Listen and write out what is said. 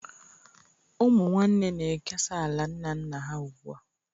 Ụmụ nwanne na-ekesa ala nna nna ha ugbu a